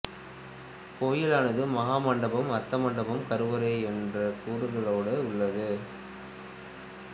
கோயிலானது மகாமண்டபம் அர்த்த மண்டபம் கருவறை என்றக் கூறுகளோடு உள்ளது